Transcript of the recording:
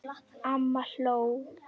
Amma hló.